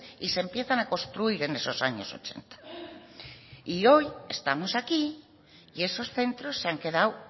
y se empiezan a construir en esos años ochenta y hoy estamos aquí y esos centros se han quedado